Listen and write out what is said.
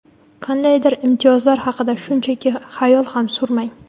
Qandaydir imtiyozlar haqida shunchaki hayol ham surmang.